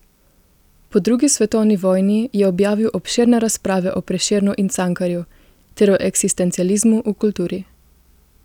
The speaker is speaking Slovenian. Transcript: Po drugi svetovni vojni je objavil obširne razprave o Prešernu in Cankarju ter o eksistencializmu v kulturi.